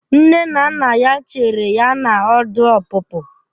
Nne na nna ya chere ya na ọdụ ọpụpụ.